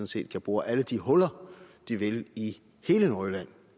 set kan bore alle de huller de vil i hele nordjylland